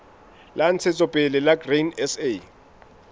la ntshetsopele la grain sa